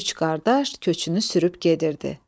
Üç qardaş köçünü sürüb gedirdi.